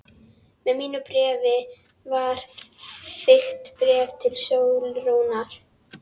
Með mínu bréfi var þykkt bréf til Sólrúnar.